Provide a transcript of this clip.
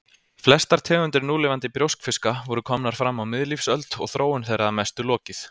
Flestar tegundir núlifandi brjóskfiska voru komnar fram á miðlífsöld og þróun þeirra að mestu lokið.